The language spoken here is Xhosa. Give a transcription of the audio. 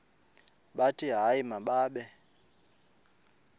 bathi hayi mababe